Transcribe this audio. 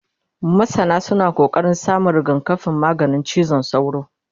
masana suna ƙoƙarin samun rigakafin maganin cizon sauro